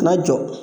Na jɔ